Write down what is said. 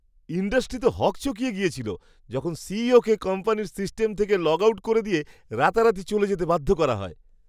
Industry তো হকচকিয়ে গিয়েছিল, যখন সিইও কে কোম্পানির সিস্টেম থেকে লগ আউট করে দিয়ে রাতারাতি চলে যেতে বাধ্য করা হয়!